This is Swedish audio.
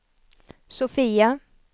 Sofia